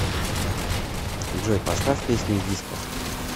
джой поставь песню диско